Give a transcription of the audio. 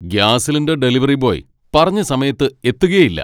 Gas cylinder delivery boy പറഞ്ഞ സമയത്ത് എത്തുകേയില്ല.